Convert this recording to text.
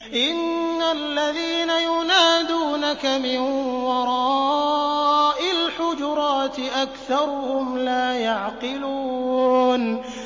إِنَّ الَّذِينَ يُنَادُونَكَ مِن وَرَاءِ الْحُجُرَاتِ أَكْثَرُهُمْ لَا يَعْقِلُونَ